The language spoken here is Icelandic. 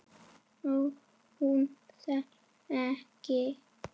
Og hún selst enn.